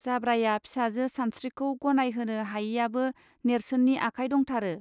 जाब्राया फिसाजो सानस्त्रिखौ गनाय होनो हायैयाबो नेर्सोननि आखाय दंथारो